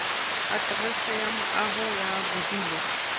aterese ya moaho ya bodulo